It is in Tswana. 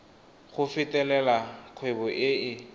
go fetolela kgwebo e e